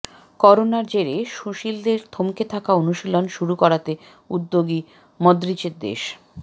করোনার জেরে সুনীলদের থমকে থাকা অনুশীলন শুরু করাতে উদ্যোগী মদ্রিচের দেশ